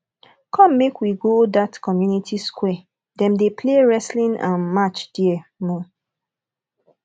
come make we go that community square them dey play wrestling um match there um